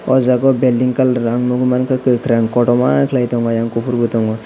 oh jagao building colour ang nukgwi mankha kwkhwrang kotorma khwlai tongo ayang kuphur bo tongo.